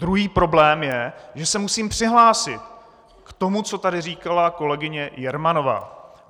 Druhý problém je, že se musím přihlásit k tomu, co tady říkala kolegyně Jermanová.